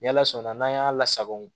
Ni ala sɔnna n'an y'a lasagon